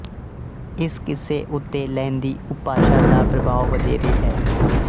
ਇਸ ਕਿੱਸੇ ਉੱਤੇ ਲਹਿੰਦੀ ਉਪਭਾਸ਼ਾ ਦਾ ਪ੍ਰਭਾਵ ਵਧੇਰੇ ਹੈ